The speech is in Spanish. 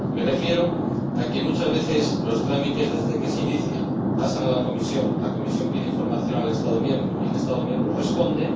Me refiero a que muchas veces, desde que se inician los trámites, pasan a la Comisión, la Comisión pide información al Estado miembro y el Estado miembro responde...